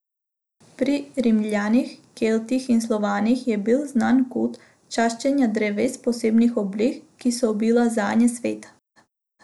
Pri Rimljanih, Keltih in Slovanih je bil znan kult čaščenja dreves posebnih oblik, ki so bila zanje sveta.